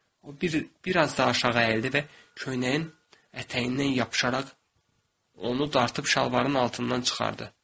O biraz da aşağı əyildi və köynəyin ətəyindən yapışaraq onu dartıb şalvarın altından çıxardı.